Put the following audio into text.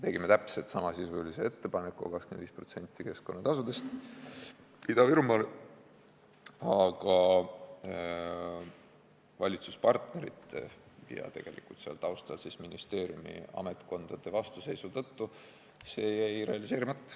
Tegime täpselt samasisulise ettepaneku, 25% keskkonnatasudest Ida-Virumaale, aga valitsuspartnerite ja tegelikult seal taustal ministeeriumi ametkondade vastuseisu tõttu jäi see realiseerimata.